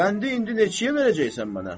Qəndi indi neçəyə verəcəksən mənə?